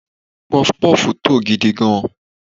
puff-puff to gidi gan